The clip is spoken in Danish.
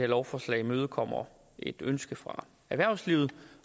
lovforslag imødekommer et ønske fra erhvervslivet